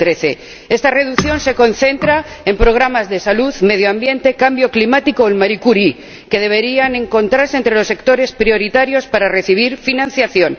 2013. Esta reducción se concentra en programas de salud, medio ambiente, cambio climático o el Marie Curie, que deberían encontrarse entre los sectores prioritarios para recibir financiación.